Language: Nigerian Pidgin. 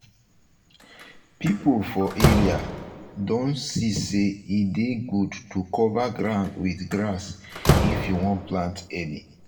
um people for um area don see say e dey good to cover ground with grass if you want plant early.